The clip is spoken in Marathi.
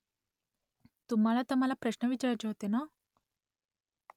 तुम्हाला तर मला प्रश्न विचारायचे होते ना ?